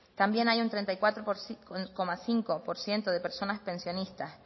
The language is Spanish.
también hay un treinta y cuatro coma cinco por ciento de personas pensionistas